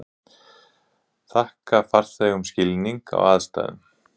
Þakka farþegum skilning á aðstæðum